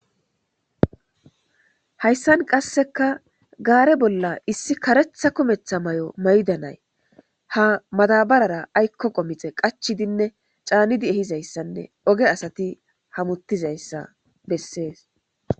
Hayisan qasika gare bolla issi karetha kumetha mayo mayidi na,ayi ha madabarera ayiko misha qachidinne ca,nidi hametidayisa besees